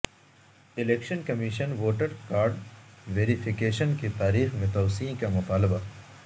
election commission سےووٹرکارڈ verification کی تاریخ میں توسیع کامطالبہ